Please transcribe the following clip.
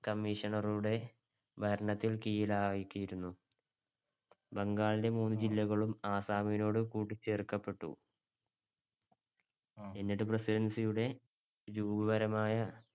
commissioner ടെ ഭരണത്തിന് കീഴിൽ ആക്കിയിരുന്നു. ബംഗാളിലെ മൂന്നു ജില്ലകളും ആസ്സാമിനോട് കൂട്ടിച്ചേർക്കപെട്ടു. എന്നിട്ട് presidency യുടെ രൂപപരമായ